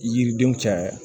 Yiridenw caya